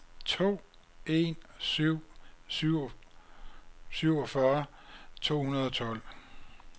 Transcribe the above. to en syv syv syvogfyrre to hundrede og tolv